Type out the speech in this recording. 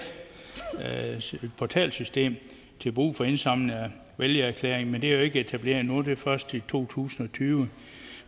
portalsystem til brug for indsamling af vælgererklæringer men det er jo ikke etableret endnu og bliver det først i to tusind og tyve